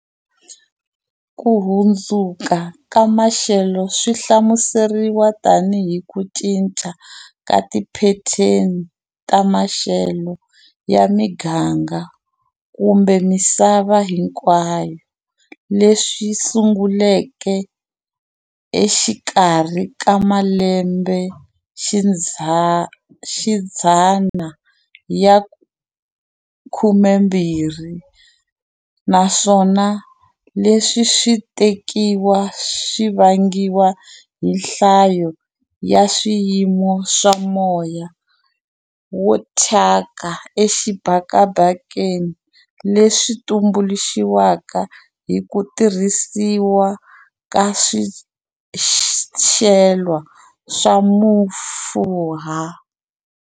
Ku hundzuka ka maxelo swi hlamuseriwa tanihi ku cinca ka tiphetheni ta maxelo ya miganga kumbe misava hinkwayo leswi sunguleke exikarhi ka malembexidzana ya 20, naswona leswi swi tekiwa swi vangiwa hi nhlayo ya swiyimo swa moya wo thyaka exibakabakeni leswi tumbuluxiwaka hi ku tirhisiwa ka swicelwa swa mafurha.